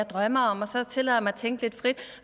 drømmer om og så tillader han sig at tænke lidt frit